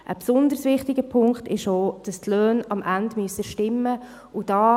Ein besonders wichtiger Punkt ist auch, dass die Löhne am Ende stimmen müssen.